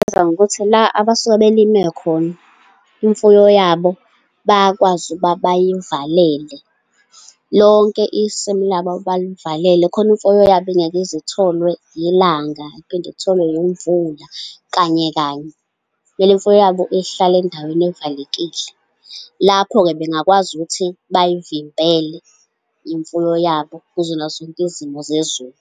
Bangazijwayeza ngokuthi la abasuke belime khona, imfuyo yabo bayakwazi ukuthi bayivalele. Lonke isimu labo abalivalele, khona imfuyo yabo ingeke ize itholwe ilanga iphinde itholwe yimvula, kanye kanye. Kumele imfuyo yabo ihlale endaweni evalekile. Lapho-ke bengakwazi ukuthi bayivimbele imfuyo yabo kuzona zonke izimo zezulu.